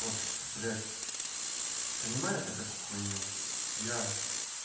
вот блять понимаю то такую хуйню я